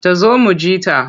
Ta zo mu ji ta.